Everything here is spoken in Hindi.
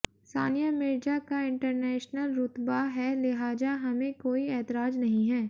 सानिया मिर्जा का इंटरनैशनल रूतबा है लिहाजा हमें कोई ऐतराज नहीं है